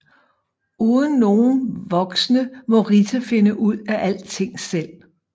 Uden nogen voksne må Rita finde ud af alting selv